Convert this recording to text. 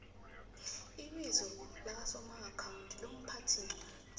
ibizo lakasomaakhawundi lomphathiincwadi